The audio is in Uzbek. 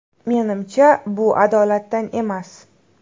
Menimcha, bu adolatdan emas.